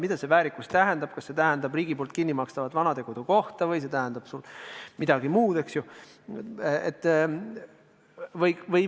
Mida see väärikus tähendab: kas see tähendab riigi kinnimakstavat vanadekodu kohta või see tähendab midagi muud?